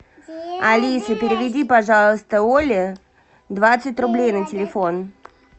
алиса переведи пожалуйста оле двадцать рублей на телефон